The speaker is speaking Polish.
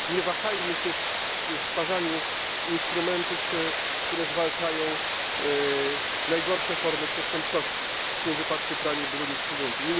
Nie wahajmy się przy stwarzaniu instrumentów, które zwalczają najgorsze formy przestępczości, w tym wypadku pranie brudnych pieniędzy.